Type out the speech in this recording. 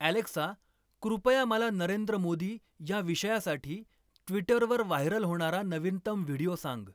Alexa कृपया मला नरेंद्र मोदी या विषयासाठी ट्विटरवर व्हायरल होणारा नवीनतम व्हिडिओ सांग